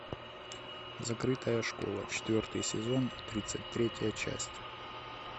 закрытая школа четвертый сезон тридцать третья часть